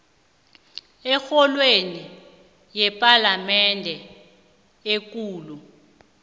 ekorweni yepalamende ekulu